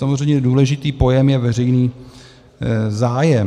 Samozřejmě důležitý pojem je "veřejný zájem".